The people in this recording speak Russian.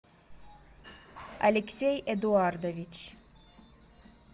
алексей эдуардович